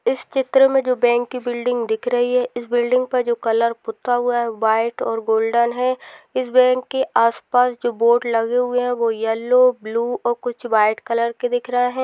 इस चित्र मै जो बैंक कि बिल्डिंग दिख रही है इस बिल्डिंग पर जो कलर पुता हुआ है व्हाइट और गोल्डन है इस बैंक के आस पास जो बोर्ड लगे हुए है वो येल्लो ब्लू और कुछ व्हाइट कलर के दिख रहे है।